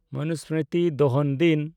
ᱢᱚᱱᱩᱥᱢᱨᱤᱛᱤ ᱫᱚᱦᱚᱱ ᱫᱤᱱ